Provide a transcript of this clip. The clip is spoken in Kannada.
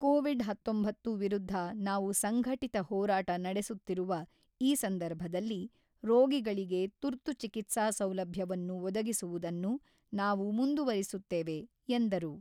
ಕೋವಿಡ್ ಹತೊಂಬತ್ತು ವಿರುದ್ಧ ನಾವು ಸಂಘಟಿತ ಹೋರಾಟ ನಡೆಸುತ್ತಿರುವಈ ಸಂದರ್ಭದಲ್ಲಿ ರೋಗಿಗಳಿಗೆ ತುರ್ತು ಚಿಕಿತ್ಸಾ ಸೌಲಭ್ಯವನ್ನು ಒದಗಿಸುವುದನ್ನು ನಾವು ಮುಂದುವರಿಸುತ್ತೇವೆ, ಎಂದರು.